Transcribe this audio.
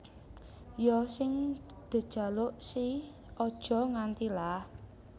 Ya sing dejaluk si Aja Nganti lah